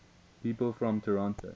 people from toronto